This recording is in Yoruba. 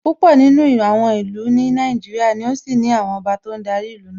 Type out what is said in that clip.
Púpọ̀ nínú àwọn ìlú ní Nàìjíríà ni ó ṣì ní àwọn ọba tó ń darí ìlú náà